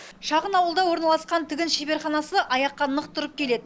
шағын ауылда орналасқан тігін шеберханасы аяққа нық тұрып келеді